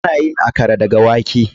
Ana yin Akara daga wake.